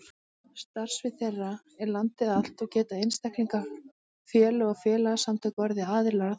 Starfsvið þeirra er landið allt og geta einstaklingar, félög og félagasamtök orðið aðilar að þeim.